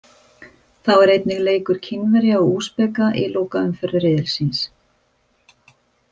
Þá er einnig leikur Kínverja og Úsbeka í lokaumferð riðilsins.